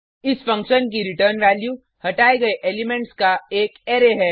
इस फंक्शन की return value हटाये गये एलिमेंट्स का एक अरै है